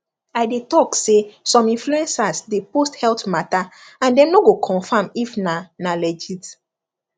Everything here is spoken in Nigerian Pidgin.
i dey tak say some influencers dey post health matter and dem no go confirm if na na legit